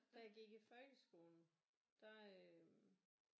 Da jeg gik i folkeskolen der øh